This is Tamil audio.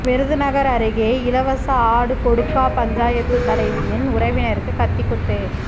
விருதுநகர் அருகே இலவச ஆடு கொடுக்கா பஞ்சாயத்து தலைவியின் உறவினருக்கு கத்தி குத்து